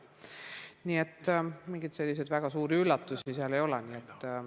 Nii et mingeid selliseid väga suuri üllatusi seal ei ole.